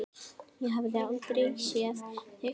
Ég hafði aldrei séð þig.